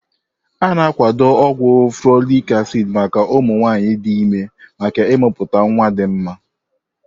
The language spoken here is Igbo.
A na akwado ogwu folic acid maka ụmụ nwanyị dị ime maka imepụta nwa dị mma.